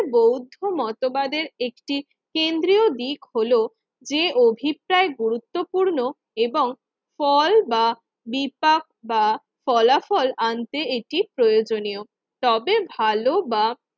বৌদ্ধ মতবাদের একটি কেন্দ্রীয় দিক হলো যে অভিপ্রায় গুরুত্বপূর্ণ এবং ফল বা দীপক বা ফলাফল আনতে এটি প্রয়োজনিয়। তবে ভালো বা